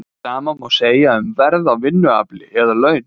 Hið sama má segja um verð á vinnuafli eða laun.